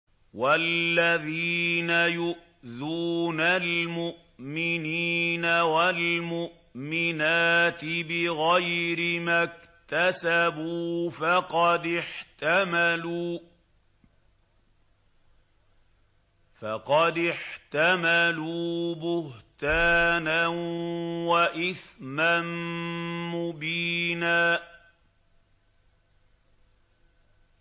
وَالَّذِينَ يُؤْذُونَ الْمُؤْمِنِينَ وَالْمُؤْمِنَاتِ بِغَيْرِ مَا اكْتَسَبُوا فَقَدِ احْتَمَلُوا بُهْتَانًا وَإِثْمًا مُّبِينًا